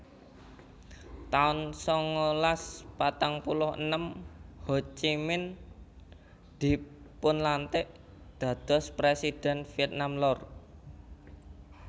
taun sangalas patang puluh enem Ho Chi Minh dipunlantik dados Presidhèn Vietnam Lor